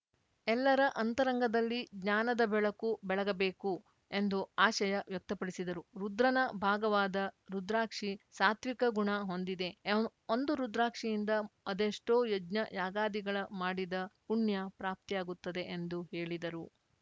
ಎಲ್ಲರ ಅಂತರಂಗದಲ್ಲಿ ಜ್ಞಾನದ ಬೆಳಕು ಬೆಳಗ ಬೇಕು ಎಂದು ಅಶಯ ವ್ಯಕ್ತಪಡಿಸಿದರು ರುದ್ರನ ಭಾಗವಾದ ರುದ್ರಾಕ್ಷಿ ಸಾತ್ವಿಕ ಗುಣ ಹೊಂದಿದೆ ಒಂದು ರುದ್ರಾಕ್ಷಿಯಿಂದ ಅದೆಷ್ಟೋ ಯಜ್ಞ ಯಾಗಾದಿಗಳ ಮಾಡಿದ ಪುಣ್ಯ ಪ್ರಾಪ್ತಿಯಾಗುತ್ತದೆ ಎಂದು ಹೇಳಿದರು